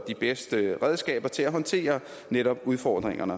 bedste redskaber til at håndtere udfordringerne